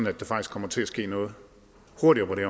at der faktisk kommer til at ske noget hurtigere på det